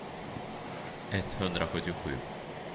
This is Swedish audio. etthundrasjuttiosju